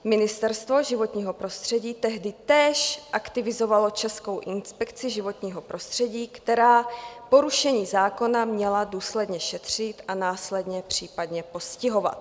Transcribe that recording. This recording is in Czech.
Ministerstvo životního prostředí tehdy též aktivizovalo Českou inspekci životního prostředí, která porušení zákona měla důsledně šetřit a následně případně postihovat.